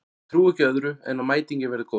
Ég trúi ekki öðru en að mætingin verði góð.